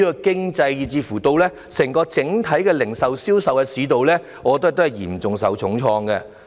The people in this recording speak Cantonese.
經濟，以至整體零售和銷售市道，也嚴重受創。